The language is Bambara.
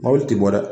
Mɔbili ti bɔ dɛ